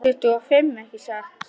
Tuttugu og fimm, ekki satt?